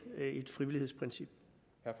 at